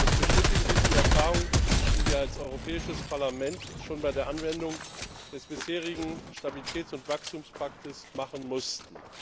Es bestätigen sich die Erfahrungen, die wir als Europäisches Parlament schon bei der Anwendung des bisherigen Stabilitäts und Wachstumspakts machen mussten.